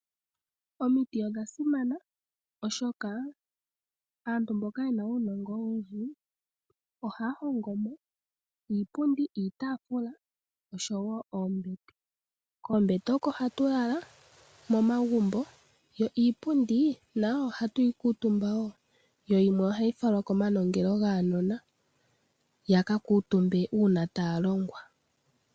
Omiti odha simana, oshoka aantu mboka yena uunongo owundji, Ohaya hongomo Iipundi, iitafula osho wo oombete. Koombete oko hatu lala momagumbo. Yo iipundi nayo ohatuyi kuutumba wo, yo yimwe ohayi falwa komanongelo gaanona yaka kuutumbe una taya longwa.